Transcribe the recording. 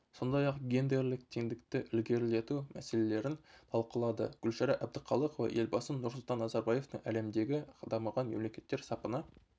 сондай-ақ гендерлік теңдікті ілгерілету мәселелерін талқылады гүлшара әбдіқалықова елбасы нұрсұлтан назарбаевтың әлемдегі дамыған мемлекеттер сапына